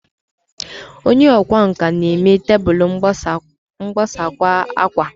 Onye ọkwá nkà na-eme tebụl mgbakwasa akwa